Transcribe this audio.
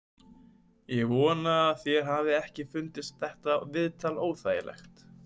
Ég vona að þér hafi ekki fundist þetta viðtal óþægilegt.